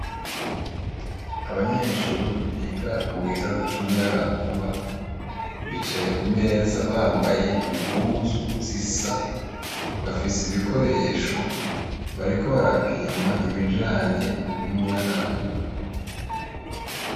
Abanyeshuri biga mu gisata c'umuyaga nkuba bicaye ku meza bambaye impuzu zisa bafise ibikoresho bariko barapima ibijanye n'umuyaga nkuba.